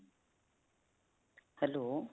hello.